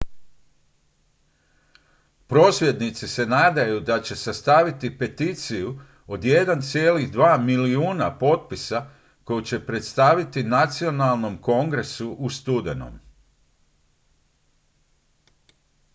prosvjednici se nadaju da će sastaviti peticiju od 1,2 milijuna potpisa koju će predstaviti nacionalnom kongresu u studenom